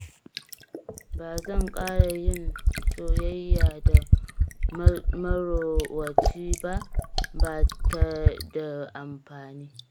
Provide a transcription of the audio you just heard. Ba zan ƙara yin soyayya da marowaci ba, ba ta da amfani